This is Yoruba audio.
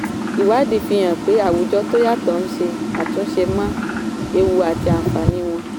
ìwádìí fi hàn pé àwùjọ tó yàtọ̀ ń ṣe àtúnṣe mọ ewu àti àǹfààní wọn.